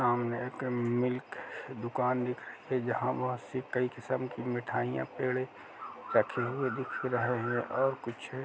सामने एक मिल्क दुकान दिखाई दे रही है जहां बोहोत से कई किस्म की मिठाइयां रखी हुई पेड़े रखे हुए दिख रहे हैं और कुछ --